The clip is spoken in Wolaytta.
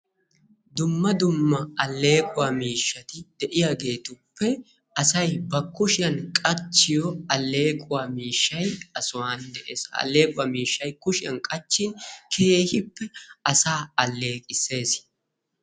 Dumma dumma alleequwa miishshati de'iyaageetuppe asay ba kushiyan qachchiyo alleequwa miishshay ha sohuwan dees. Ha alleequwa miishshay kushiyan qachchin keehippe asaa aalleqisses.